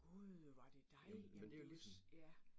Gud, var det dig? Jamen det jo, ja